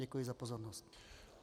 Děkuji za pozornost.